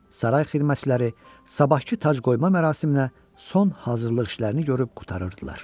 Saray xidmətçiləri sabahkı tacqoyma mərasiminə son hazırlıq işlərini görüb qurtarırdılar.